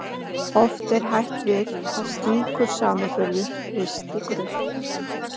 Oft er hætt við að slíkur samanburður risti grunnt.